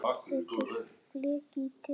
Settur fleki í dyrnar.